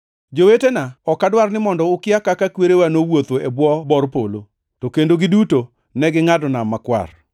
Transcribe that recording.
Jowetena, ok adwar ni mondo ukia kaka kwerewa nowuotho e bwo bor polo, to kendo giduto negingʼado Nam Makwar.